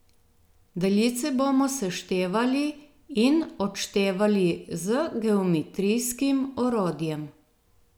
Daljice bomo seštevali in odštevali z geometrijskim orodjem.